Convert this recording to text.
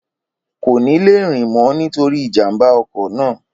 Kò ní le rìn mọ nítorí ìjàmbá ọkọ̀ náà